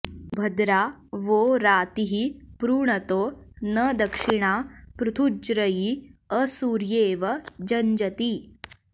भ॒द्रा वो॑ रा॒तिः पृ॑ण॒तो न दक्षि॑णा पृथु॒ज्रयी॑ असु॒र्ये॑व॒ जञ्ज॑ती